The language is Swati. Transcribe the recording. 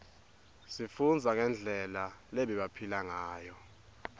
sifundza ngendlela lebebaphila ngayo